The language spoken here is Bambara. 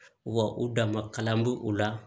Wa u dama kalan b'u la